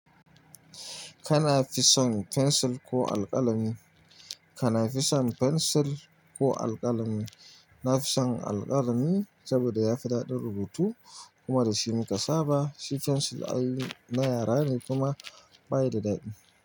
Kana fison fensil ko alƙalami? Kana fison fensil ko alƙalami? Na fison alƙalami saboda ya fi daɗi rubutu kuma da shi muka saba, shi fensil na yara ne kuma ba ya da daɗi.